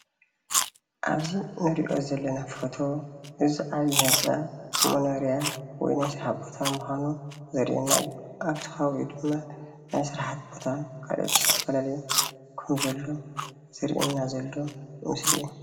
ኣብዚ እንሪኦ ዘለና ፎቶ እዚ ዓብዩ ህንፃ መኖርያ ወይ ናይ ስራሕ ቦታ ምዃኑ ዘርእየና እዩ። ኣፍቲ ኸባቢ ድማ ናይ ስራሕ ቦታ ካልኦት ዝተፈላለዩ ከም ዘሎ ዘርእየና ዘሎ ምስሊ እዩ።